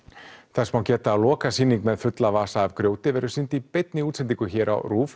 þess má geta að lokasýning með fulla vasa af grjóti verður sýnd í beinni útsendingu hér á